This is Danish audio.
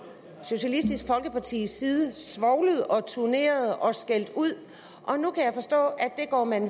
socialistisk folkepartis side svovlet og turneret og skældt ud og nu kan jeg forstå at det går man